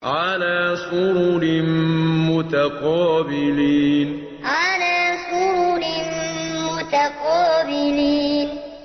عَلَىٰ سُرُرٍ مُّتَقَابِلِينَ عَلَىٰ سُرُرٍ مُّتَقَابِلِينَ